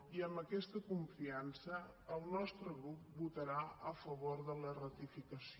i amb aquesta confiança el nostre grup votarà a favor de la ratificació